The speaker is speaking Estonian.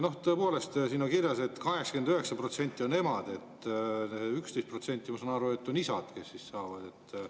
Tõepoolest, siin on kirjas, et 89% on emad, seega, ma saan aru, et 11% on isad, kes.